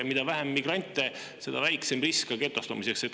Mida vähem migrante, seda väiksem risk getostumiseks.